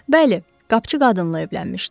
Bəli, qapıçı qadınla evlənmişdi.